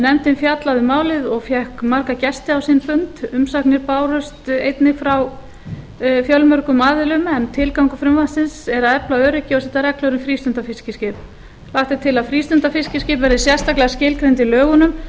nefndin fjallaði um málið og fékk marga gesti á sinn fund umsagnir bárust einnig frá fjölmörgum aðilum tilgangur frumvarpsins er að efla öryggi og setja reglur um frístundafiskiskip lagt er til að frístundafiskiskip verði sérstaklega skilgreind í lögunum